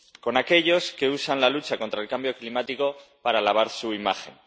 Con aquellos que usan la lucha contra el cambio climático para lavar su imagen.